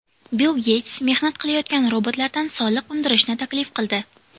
Bill Geyts mehnat qilayotgan robotlardan soliq undirishni taklif qildi.